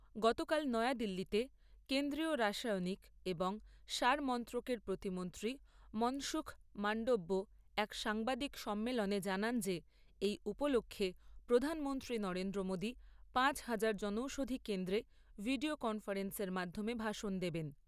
গতকাল নয়াদিল্লিতে কেন্দ্রীয় রাসায়নিক এবং সার মন্ত্রকের প্রতিমন্ত্রী মনসুখ মাণ্ডব্য এক সাংবাদিক সম্মেলনে জানান যে এই উপলক্ষ্যে প্রধানমন্ত্রী নরেন্দ্র মোদী পাঁচ হাজার জনৌষধি কেন্দ্রে ভিডিও কনফারেন্সের মাধ্যমে ভাষণ দেবেন।